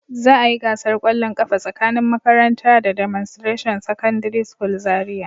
Za a yi gasar kwallon kafa tsakanin makarantara da "Demonstration secondary school" Zariya